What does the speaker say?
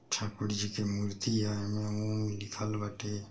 ठाकुरजी की मूर्तियाहे एह में ओम लिखल बाटे।